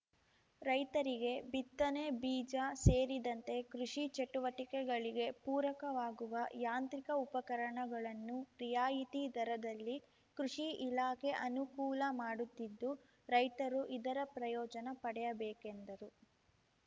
ರೈತರಿಗೆ ಬಿತ್ತನೆ ಬೀಜ ಸೇರಿದಂತೆ ಕೃಷಿ ಚಟುವಟಿಕೆಗಳಿಗೆ ಪೂರಕವಾಗುವ ಯಾಂತ್ರಿಕ ಉಪಕರಣಗಳನ್ನು ರಿಯಾಯಿತಿ ದರದಲ್ಲಿ ಕೃಷಿ ಇಲಾಖೆ ಅನುಕೂಲ ಮಾಡುತ್ತಿದ್ದು ರೈತರು ಇದರ ಪ್ರಯೋಜನ ಪಡೆಯಬೇಕೆಂದರು